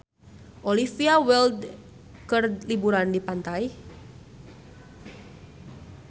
Olivia Wilde keur liburan di pantai